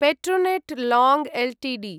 Petronet LNG Ltd